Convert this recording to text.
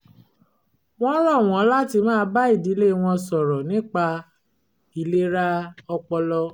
wọ́n rọ̀ wọ́n láti máa bá ìdílé wọn sọ̀rọ̀ nípa ìlera ọpọlọ